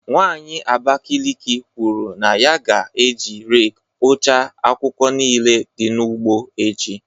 Nwanyị Abakiliki kwuru na ya ga-eji rake kpochaa akwụkwọ niile dị n’ugbo echi.